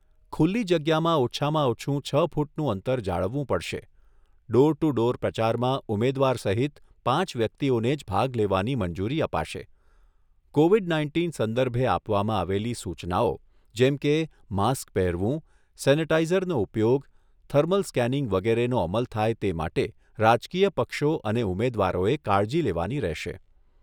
ખુલ્લી જગ્યામાં ઓછામાં ઓછું છ ફૂટનું અંતર જાળવવું પડશે ડોર ટુ ડોર પ્રચારમાં ઉમેદવાર સહિત પાંચ વ્યક્તિઓને જ ભાગ લેવાની મંજૂરી અપાશે. કોવિડ નાઇન્ટિન સંદર્ભે આપવામાં આવેલી સૂચનાઓ જેમ કે માસ્ક પહેરવું, સેનેટાઇઝરનો ઉપયોગ, થર્મલ સ્કેનિંગ વગેરેનો અમલ થાય તે માટે રાજકીય પક્ષો અને ઉમેદવારોએ કાળજી લેવાની રહેશે.